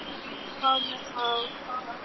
Og hvað með þá?